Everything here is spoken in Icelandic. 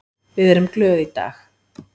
Við erum glöð í dag.